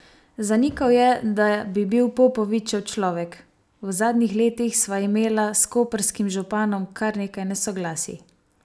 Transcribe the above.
Zanikal je, da bi bil "Popovičev človek": "V zadnjih letih sva imela s koprskim županom kar nekaj nesoglasij.